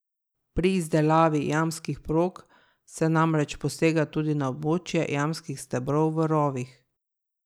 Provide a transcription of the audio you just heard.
Pri izdelavi jamskih prog se namreč posega tudi na območje jamskih stebrov v rovih.